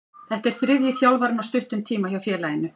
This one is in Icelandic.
Þetta er þriðji þjálfarinn á stuttum tíma hjá félaginu.